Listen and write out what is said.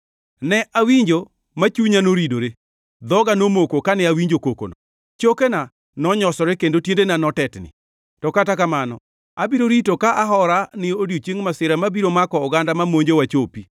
Ne awinjo ma chunya noridore, dhoga nomoko kane awinjo kokono; chokena nonyosore kendo tiendena notetni. To kata kamano abiro rito ka ahora ni odiechieng masira mabiro mako oganda ma monjowa chopi.